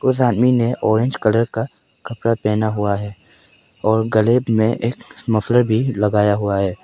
उस आदमी ने ऑरेंज कलर का कपड़ा पहना हुआ है और गले में मफलर लगाया हुआ है।